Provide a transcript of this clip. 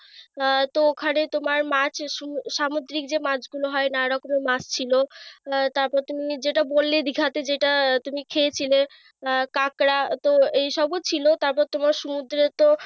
আহ তো ওখানে তোমার মাছ সু সামুদ্রিক যে মাছগুলো হয় নানা রকমের মাছ ছিল। আহ তারপর তুমি যেটা বললে দিঘাতে তুমি যেটা খেয়েছিলে। আহ কাকড়া তো এইসব ও ছিল। তারপর তোমার সমুদ্রে তো,